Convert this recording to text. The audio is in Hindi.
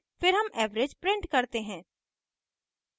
फिर हम average print करते हैं